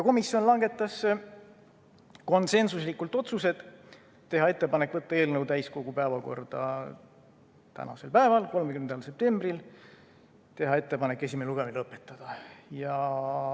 Komisjon langetas konsensuslikult otsused: teha ettepanek panna eelnõu täiskogu päevakorda tänaseks päevaks, 30. septembriks, ja teha ettepanek esimene lugemine lõpetada.